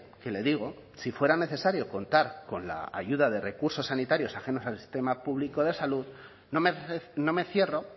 que le digo si fuera necesario contar con la ayuda de recursos sanitarios ajenos al sistema público de salud no me cierro